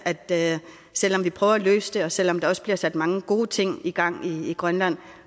at selv om vi prøver at løse det og selv om der også bliver sat mange gode ting i gang i grønland